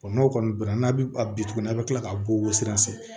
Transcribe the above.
n'o kɔni bɛnna n'a bɛ a bi tuguni a' bɛ tila k'a ko sira